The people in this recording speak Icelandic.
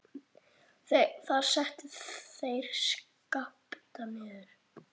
Þar settu þeir Skapta niður.